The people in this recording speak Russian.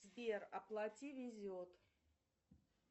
сбер оплати везет